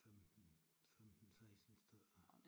15 15 16 stykker